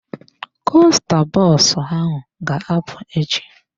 Kosta bọs ahụ ga-apụ echi.